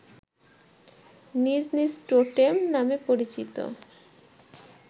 নিজ নিজ টোটেম নামে পরিচিত